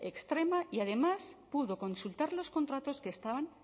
extrema y además pudo consultar los contratos que estaban